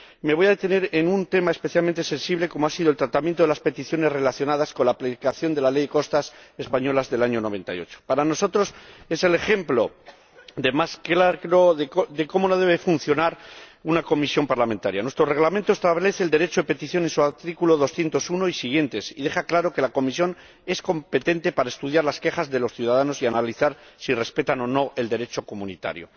Me voy a detener en un tema especialmente sensible como ha sido el tratamiento de las peticiones relacionadas con la aplicación de la Ley de Costas española del año 1998. Para nosotros, es el ejemplo de cómo no debe funcionar una comisión parlamentaria nuestro Reglamento establece el derecho de petición en su artículo 201 y siguientes, y deja claro que la comisión es competente para estudiar las quejas de los ciudadanos y analizar si respetan o no el Derecho comunitario.